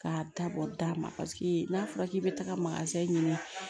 K'a dabɔ da ma paseke n'a fɔra k'i bɛ taga ɲini